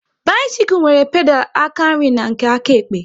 Bisikul nwere pedal aka nri na nke áká ekpe